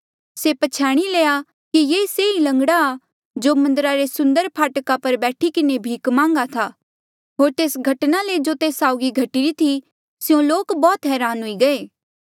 से प्छ्याणी लया कि ये से लंगड़ा ई आ जो मन्दरा रे सुन्दर फाटका पर बैठी किन्हें भीख मांग्हा था होर तेस घटना ले जो तेस साउगी घटी री थी स्यों लोक बौह्त हरान हुई गये